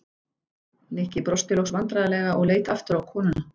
Nikki brosti loks vandræðalega og leit aftur á konuna.